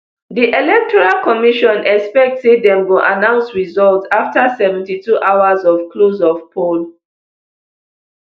di electoral commission expect say dem go announce results afta seventy-two hours of close of poll